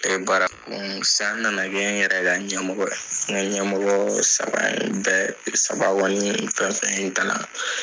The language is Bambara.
Bara sisan n nana kɛ n yɛrɛ ka ɲɛmɔgɔ ye ɲɛmɔgɔ saba in bɛɛ saba fɛnfɛn ye kalan.